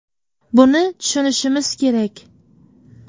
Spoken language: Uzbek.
Buni tushunishimiz kerak.